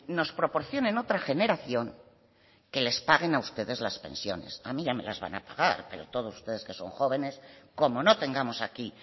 nos proporcionen otra generación que les paguen a ustedes las pensiones a mí ya me las van a pagar pero todos ustedes que son jóvenes como no tengamos aquí